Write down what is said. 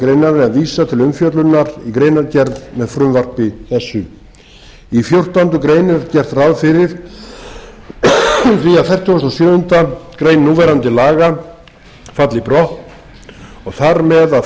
er vísað til umfjöllunar í greinargerð með frumvarpi þessu í fjórtándu grein er gert ráð fyrir því að fertugasta og sjöundu grein núverandi laga falli brott og þar með að